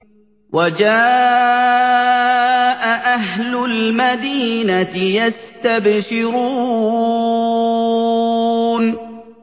وَجَاءَ أَهْلُ الْمَدِينَةِ يَسْتَبْشِرُونَ